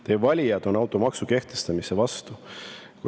Teie valijad on automaksu kehtestamise vastu.